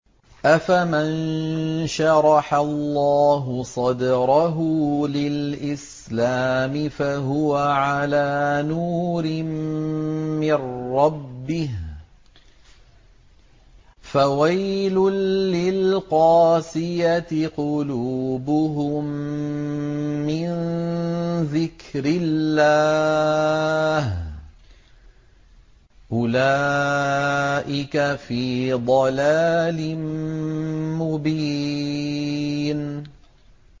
أَفَمَن شَرَحَ اللَّهُ صَدْرَهُ لِلْإِسْلَامِ فَهُوَ عَلَىٰ نُورٍ مِّن رَّبِّهِ ۚ فَوَيْلٌ لِّلْقَاسِيَةِ قُلُوبُهُم مِّن ذِكْرِ اللَّهِ ۚ أُولَٰئِكَ فِي ضَلَالٍ مُّبِينٍ